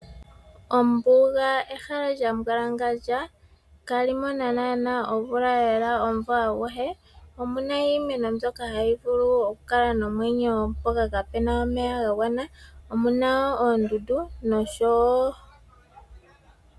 Ombuga ehala lya mbwalangandja kali mona nana omvula lela omumvo aguhe, omuna iimeno mbyoka hayi mvula okukala nomwenyo mpoka kapena omeya ga gwana , omuna wo oondundu nosho wo.